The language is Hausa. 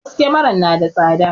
Wasu kyamaran na da tsada